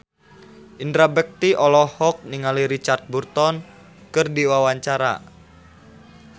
Indra Bekti olohok ningali Richard Burton keur diwawancara